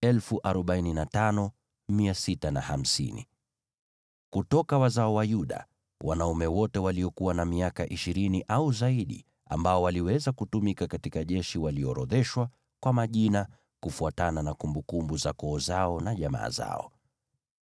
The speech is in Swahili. Kutoka wazao wa Yuda: Wanaume wote waliokuwa na miaka ishirini au zaidi ambao waliweza kutumika katika jeshi waliorodheshwa kwa majina, kufuatana na kumbukumbu za koo zao na jamaa zao.